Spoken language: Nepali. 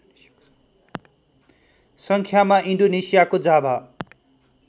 सङ्ख्यामा इन्डोनेसियाको जाभा